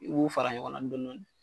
I b'u fara ɲɔgɔn na dɔɔnin dɔɔnin.